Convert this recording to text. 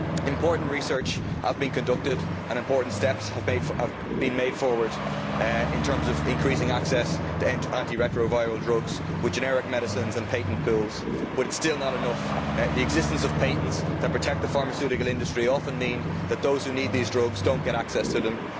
Important research has been conducted and important steps forward have been made in terms of increasing access to anti retroviral drugs with generic medicines and patent pills, but it is still not enough. The existence of patents that protect the pharmaceutical industry often means that those who need these drugs do not get access to them.